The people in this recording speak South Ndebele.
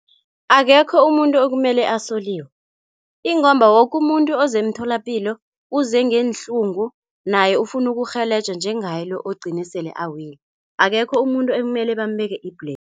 Akekho umuntu ekumele asoliwe ingomba woke umuntu ozemtholapilo uze ngeenhlungu naye ufuna ukurhelejwa njengaye lo ogcine sele awile akekho umuntu ekumele bambeke i-blame.